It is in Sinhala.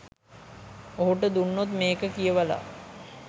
ඔහුට දුන්නොත් මේක කියවලා